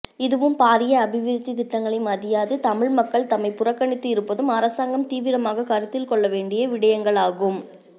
இதுவும் பாரிய அபிவிருத்தித் திட்டங்களை மதியாது தமிழ் மக்கள் தம்மை புறக்கணித்து இருப்பதும் அரசாங்கம் தீவிரமாக கருத்தில்கொள்ள வேண்டிய விடயங்களாகும்